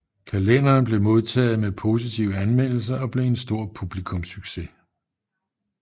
Kalenderen blev modtaget med positive anmeldelser og blev en stor publikumssucces